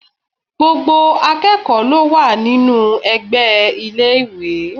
Gbogbo akẹ́kọ̀ọ́ ló wà nínú ẹgbẹ́ iléèwé